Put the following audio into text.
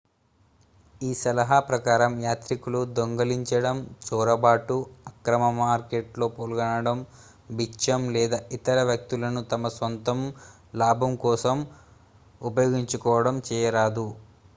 ఈ సలహా ప్రకారం యాత్రికులు దొంగిలించడం చొరబాటు అక్రమ మార్కెట్లో పాల్గొనడం బిచ్చం లేదా ఇతర వ్యక్తులను తమ స్వంత లాభం కోసం ఉపయోగించుకోవడం చేయరాదు